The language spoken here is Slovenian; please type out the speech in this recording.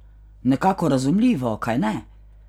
Nekako razumljivo, kajne?